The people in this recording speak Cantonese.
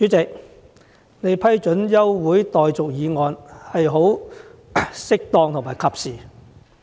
主席，你批准這項休會待續議案是適當和及時的。